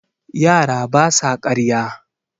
yara ba sa karya